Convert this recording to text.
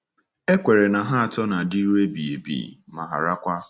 E kweere na ha atọ “na-adịru ebighị ebi, ma harakwa. ”